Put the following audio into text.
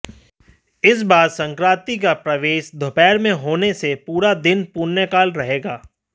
इस बार संक्रांति का प्रवेश दोपहर में होने से पूरा दिन पुण्यकाल रहेगा